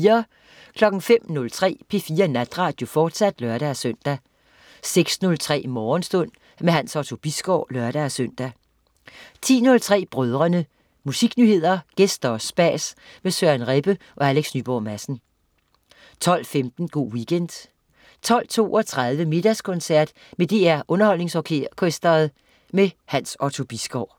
05.03 P4 Natradio, fortsat (lør-søn) 06.03 Morgenstund. Hans Otto Bisgaard (lør-søn) 10.03 Brødrene. Musiknyheder, gæster og spas med Søren Rebbe og Alex Nyborg Madsen 12.15 Go' Weekend 12.32 Middagskoncert med DR Underholdningsorkestret. Hans Otto Bisgaard